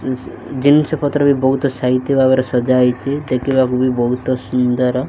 ଜିନିଷ-ପତ୍ର ବି ବହୁତ୍ ସାଇତି ଭାବରେ ସଜା ହେଇଚି ଦେଖିବାକୁ ବି ବହୁତ ସୁନ୍ଦର।